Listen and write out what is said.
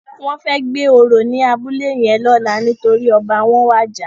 Wòn fè gbé óró ni àbúlé yèn lòlá nitóri òbá wòn wàjá